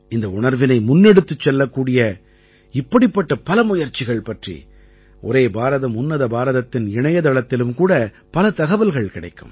இந்த உணர்வினை முன்னெடுத்துச் செல்லக்கூடிய இப்படிப்பட்ட பல முயற்சிகள் பற்றி ஒரே பாரதம் உன்னத பாரதத்தின் இணையத்தளத்திலும் கூட பல தகவல்கள் கிடைக்கும்